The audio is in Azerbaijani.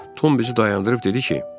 Tom bizi dayandırıb dedi ki,